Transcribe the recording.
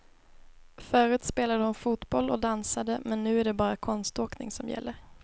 Förut spelade hon fotboll och dansade, men nu är det bara konståkning som gäller.